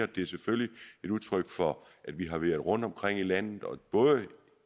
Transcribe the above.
det er selvfølgelig et udtryk for at vi har været rundtomkring i landet